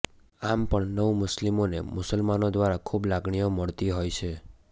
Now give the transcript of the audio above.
આમ પણ નવમુસ્લિમોને મુસલમાનો દ્વારા ખૂબ લાગણીઓ મળતી હોય છે